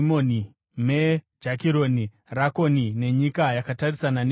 Me Jakironi, Rakoni nenyika yakatarisana neJopa.